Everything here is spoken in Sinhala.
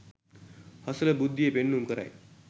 හසල බුද්ධිය පෙන්නුම් කරයි